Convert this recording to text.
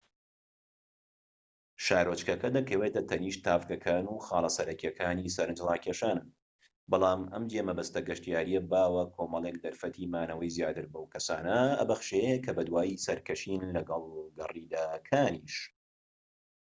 شارۆچکەکە دەکەوێتە تەنیشت تاڤگەکان و خاڵە سەرەکیەکانی سەرنج ڕاکێشانن بەڵام ئەم جێمەبەستە گەشتیاریە باوە کۆمەڵێک دەرفەتی مانەوەی زیاتر بەو کەسانە دەبەخشێت کە بەدوای سەرکەشین لەگەڵ گەڕیدەکانیش